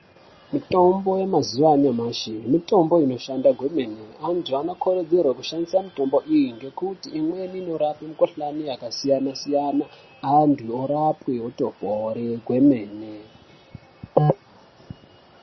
Mitombo yamazuva anyamashi mitombo inoshanda kwemene. Antu vanokurudzirwa kushandisa mitombo iyi ngekuti imweni inorape mikhuhlani yakasiyana siyana, antu orapwe otopora kwemene.